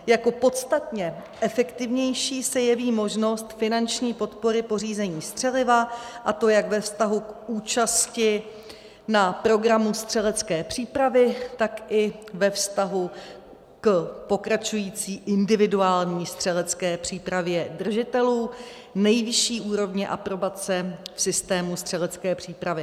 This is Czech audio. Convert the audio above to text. Jako podstatně efektivnější se jeví možnost finanční podpory pořízení střeliva, a to jak ve vztahu k účasti na programu střelecké přípravy, tak i ve vztahu k pokračující individuální střelecké přípravě držitelů nejvyšší úrovně aprobace v systému střelecké přípravy.